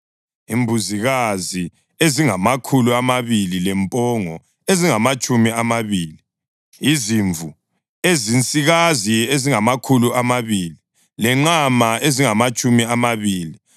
imbuzikazi ezingamakhulu amabili lempongo ezingamatshumi amabili; izimvu ezinsikazi ezingamakhulu amabili lenqama ezingamatshumi amabili;